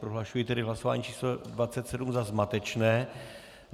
Prohlašuji tedy hlasování číslo 27 za zmatečné.